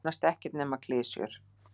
Nánast ekkert nema klisjur.